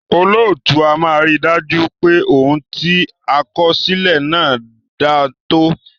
Olóòtú a máa rí dájú pé òun ti a kọ sílè náà dántọ́